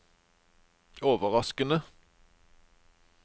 overraskende